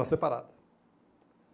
Era separada.